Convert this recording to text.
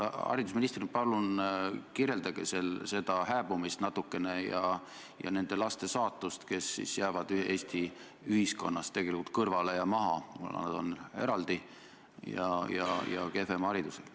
Haridusministrina palun kirjeldage seda hääbumist natukene ja nende laste saatust, kes siis jäävad Eesti ühiskonnast tegelikult kõrvale ja maha, kuna nad on eraldi ja kehvema haridusega.